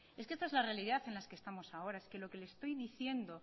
es que esta es la realidad en la que estamos ahora es que lo que le estoy diciendo